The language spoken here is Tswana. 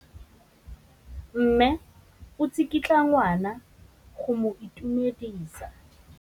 Mme o tsikitla ngwana go mo itumedisa.